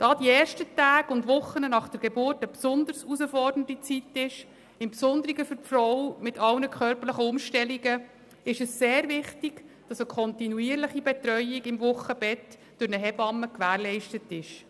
Da die ersten Tage und Wochen nach der Geburt eine besonders herausfordernde Zeit darstellen, insbesondere für die Frau mit all den körperlichen Umstellungen, ist es sehr wichtig, dass eine kontinuierliche Betreuung Wochenbett durch eine Hebamme gewährleistet ist.